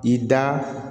I da